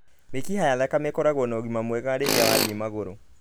Mĩkiha ya thakame ĩkoragwo na ũgima mwega rĩrĩa wathiĩ magũrũ